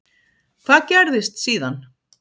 Hvað gerðist síðan?